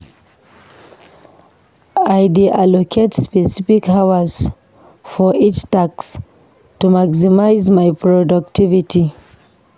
I dey allocate specific hours for each task to maximize my productivity.